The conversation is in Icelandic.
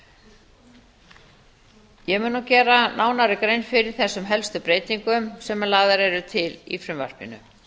mun nú gera nánari grein fyrir þessum helstu breytingum sem lagðar eru til í frumvarpinu